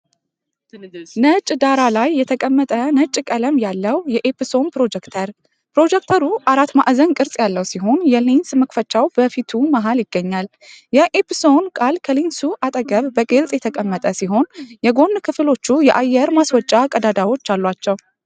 ነጭ ዳራ ላይ የተቀመጠ ነጭ ቀለም ያለው የኤፕሶን ፕሮጀክተር። ፕሮጀክተሩ አራት ማዕዘን ቅርጽ ያለው ሲሆን፣ የሌንስ መክፈቻው በፊቱ መሃል ይገኛል። የ"EPSON" ቃል ከሌንሱ አጠገብ በግልጽ የተቀመጠ ሲሆን፣ የጎን ክፍሎቹ የአየር ማስወጫ ቀዳዳዎች አሏቸው።